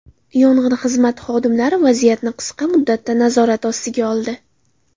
Yong‘in xizmati xodimlari vaziyatni qisqa muddatda nazorat ostiga oldi.